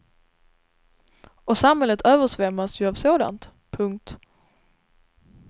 Och samhället översvämmas ju av sådant. punkt